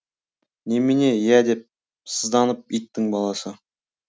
немене иә деп сызданып иттің баласы